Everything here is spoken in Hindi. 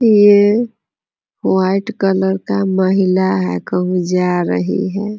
ये वाइट कलर का महिला है कहूं जा रही है।